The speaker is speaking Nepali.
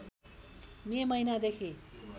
मे महिनादेखि